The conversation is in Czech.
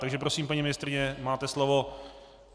Takže prosím, paní ministryně, máte slovo.